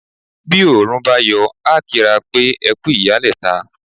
Bi Òòrùn bá yọ, a kí ra wa pé " ẹkú ìyálẹ̀ta"